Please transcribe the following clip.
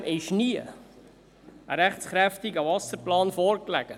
Trotzdem lag nie ein rechtskräftiger Wasserplan vor.